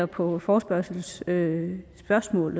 på forespørgslens spørgsmål